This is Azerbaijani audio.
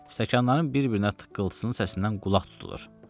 Stəkanların bir-birinə tıqqılısının səsindən qulaq tutulur.